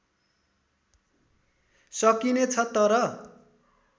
सकिने छ तर